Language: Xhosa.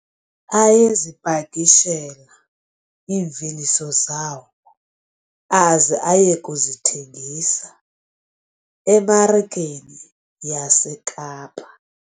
Ayezipakishela iimveliso zawo aze aye kuzithengisa emarikeni yaseKapa.